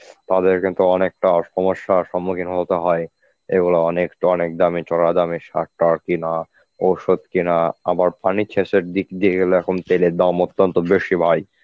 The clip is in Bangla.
তাদের কিন্তু অনেকটা সমস্যার সম্মুখীন হতে হয় এবং অনেকট অনেক দামে চড়া দামে সার টা কেনা ঔষধ কেনা পানি শেচের দিক দিয়ে গেলে এখন তেলের দাম অত্যন্ত বেশি ভাই.